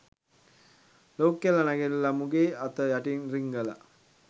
ලොකු කෙල්ල නැඟිටල මුගේ අත යටින් රිංගල